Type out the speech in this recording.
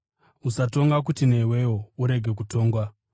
“Usatonga kuti newewo urege kutongwa.